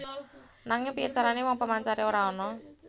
Nanging piyé carané wong pemancare ora ana